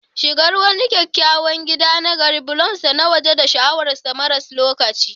Shigar wani kyakkyawan gida na gari, bulonsa na waje da sha'awar sa maras lokaci